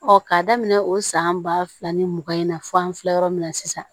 k'a daminɛ o san ba fila ni mugan in na fɔ an filɛ yɔrɔ min na sisan